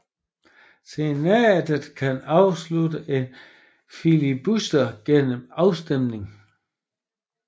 Senatet kan afslutte en filibuster gennem afstemning